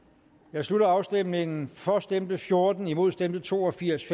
jeg slutter afstemningen for stemte fjorten imod stemte to og firs